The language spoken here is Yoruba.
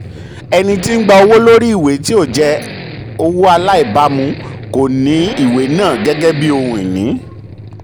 ẹni tí ń gba owó lórí ìwé tí ó jẹ́ owó aláìbámu kò ní ìwé náà gẹ́gẹ́ bí ohun-ini.